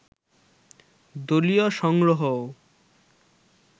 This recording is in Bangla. দলীয় সংগ্রহও